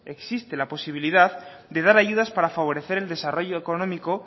existe la posibilidad de dar ayudas para favorecer el desarrollo económico